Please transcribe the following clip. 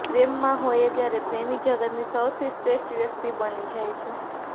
પ્રેમમાં હોઈએ ત્યારે પ્રેમી જગતની સૌથી શ્રેષ્ઠ વ્યક્તિ બની જાય છે